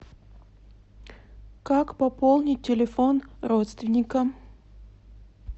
как пополнить телефон родственникам